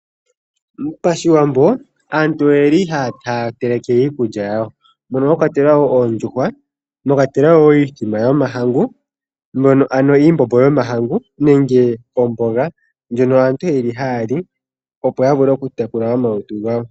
Pashiwambo aantu oyeli haa teleke iikulya yawo mono mwakwatelwa wo oondjuhwa mwakwatelwa iithima yomahangu ano iimbombo yomahangu nenge omboga ndjono aantu yeli haali opo ya vule oku tekula omalutu gawo.